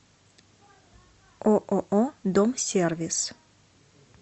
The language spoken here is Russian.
ооо дом сервис